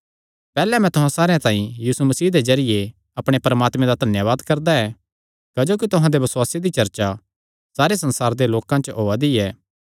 पैहल्ले मैं तुहां सारेयां तांई यीशु मसीह दे जरिये अपणे परमात्मे दा धन्यावाद करदा ऐ क्जोकि तुहां दे बसुआसे दी चर्चा सारे संसारे दे लोकां च होआ दी ऐ